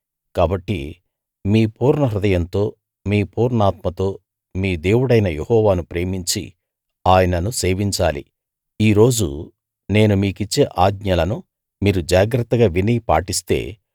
కాబట్టి మీ పూర్ణహృదయంతో మీ పూర్ణాత్మతో మీ దేవుడైన యెహోవాను ప్రేమించి ఆయనను సేవించాలి ఈ రోజు నేను మీకిచ్చే ఆజ్ఞలను మీరు జాగ్రత్తగా విని పాటిస్తే